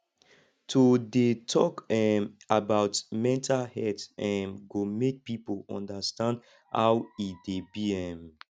to dey tok um about mental health um go make people understand how e dey be um